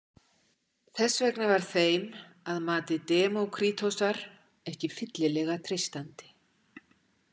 Þess vegna var þeim, að mati Demókrítosar, ekki fyllilega treystandi.